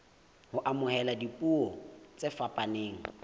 ho amohela dipuo tse fapaneng